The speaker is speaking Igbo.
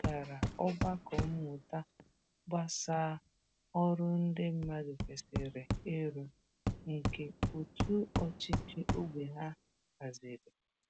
Ọ gara ogbako mmụta gbasà ọrụ ndị mmadụ kwesịrị ịrụ, nke òtù ọchịchị ógbè ha haziri.